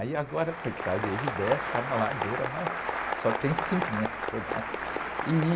Aí agora, coitado, ele desce, é uma ladeira, mas só tem cimento, né?